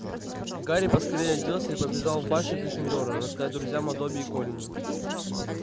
гарри поскорее оделся и побежал в башню гриффиндора рассказать друзьям о добби и колине